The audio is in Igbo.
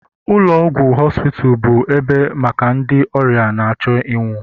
ụlọ ọgwụ hospice bụ ebe maka ndị ọrịa na-achọ ịnwụ